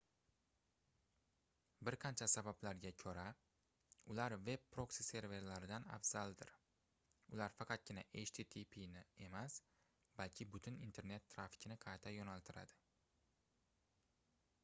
bir qancha sabablarga koʻra ular veb proksi-serverlardan afzaldir ular faqatgina httpʼni emas balki butun internet trafikni qayta yoʻnaltiradi